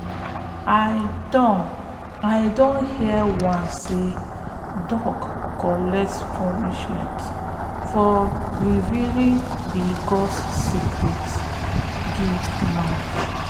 i don i don hear once sey dog collect punishment for revealing de gods secret give man